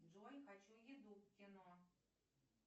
джой хочу еду к кино